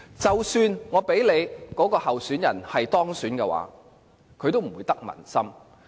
即使該位候選人可以當選，也不會得民心。